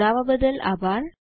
જોડવા બદલ આભાર